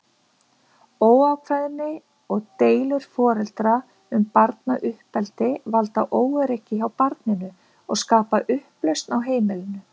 Óákveðni og deilur foreldra um barnauppeldi valda óöryggi hjá barninu og skapa upplausn á heimilinu.